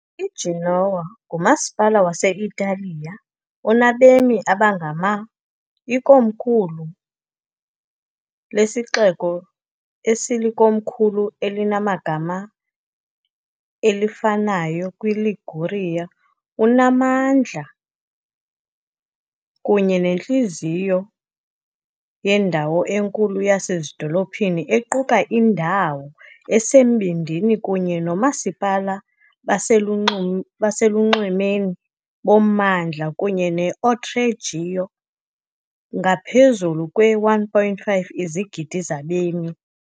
IGenoa, ngumasipala wase-Italiya onabemi abangama, ikomkhulu lesixeko esilikomkhulu elinegama elifanayo, kwiLiguria. unamandla kunye nentliziyo yendawo enkulu yasezidolophini equka indawo esembindini kunye noomasipala baselunxu baselunxwemeni bommandla, kunye ne- Oltregiogo, ngaphezu kwe-1.5 izigidi zabemi.